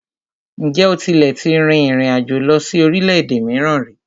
Ǹjẹ́ o tílẹ̀ tí rìn ìrin àjò lọ sí orílẹ̀-èdè mìíràn ríi?